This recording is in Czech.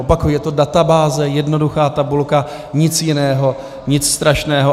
Opakuji, je to databáze, jednoduchá tabulka, nic jiného, nic strašného.